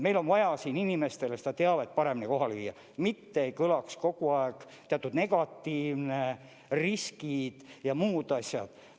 Meil on vaja inimestele seda teavet paremini kohale viia, mitte ei kõlaks kogu aeg teatud negatiivne info, riskid ja muud asjad.